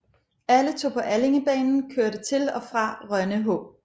Alle tog på Allingebanen kørte til og fra Rønne H